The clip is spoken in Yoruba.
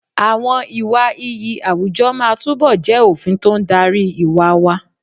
Àwọn ìwà iyì àwùjọ máa túbọ̀ jẹ́ òfin tó ń darí ìwà wa.